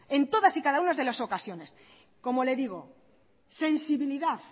en todas y cada una de las ocasiones como le digo sensibilidad